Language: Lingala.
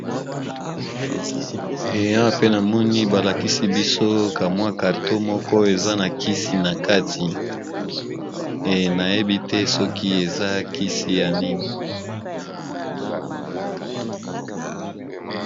Eya pe namoni balakisi biso kamwa carton moko eza na kisi na kati nayebi te soki eza kisi ya nini.